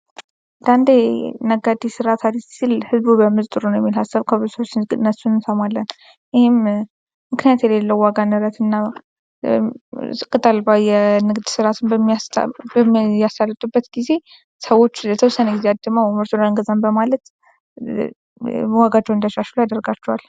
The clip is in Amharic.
አንዳንዴ ነጋዴዎች ስርዓት አልይዝም ሲል ህዝቡ ቢያምፅ ጥሩ ነው የሚል ሃሳብ ከብዙ ሰዎች ሲነሱ እንሰማለን:: ይሄም ምክንያት የሌለው የዋጋ ንረት እና ቅጥ አልባ የንግድ ስርዓትን በሚያሳልጡበት ጊዜ ሰዎች ለተወሰነ ጊዜ ምርቱን አንገዛም በማለት ዋጋቸውን እንዲያሻሽሉ ያደርጋቸዋል::